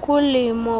kulimo